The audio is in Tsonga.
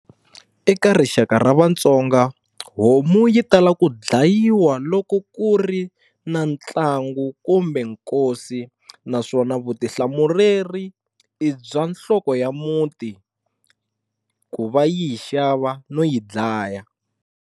Eka rixaka ra vaTsonga homu yi tala ku dlayiwa loko ku ri na ntlangu kumbe nkosi naswona vutihlamureri i bya nhloko ya muti ku va yi yi xava no yi dlaya.